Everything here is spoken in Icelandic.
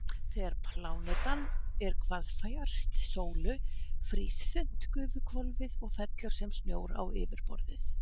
Þegar plánetan er hvað fjærst sólu frýs þunnt gufuhvolfið og fellur sem snjór á yfirborðið.